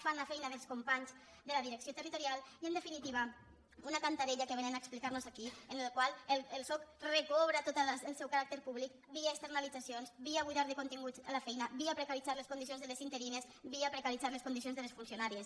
fan la feina dels companys de la direcció territorial i en definitiva una cantarella que vénen a explicar nos aquí en la qual el soc recobra tot el seu caràcter públic via externalitzacions via buidar de continguts la feina via precaritzar les condicions de les interines via precaritzar les condicions de les funcionàries